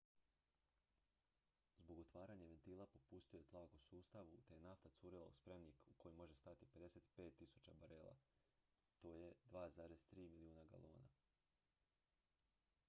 zbog otvaranja ventila popustio je tlak u sustavu te je nafta curila u spremnik u koji može stati 55.000 barela 2,3 milijuna galona